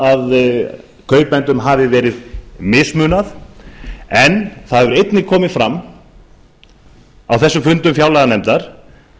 að kaupendum hafi verið mismunað það hefur einnig komið fram á þessum fundum fjárlaganefndar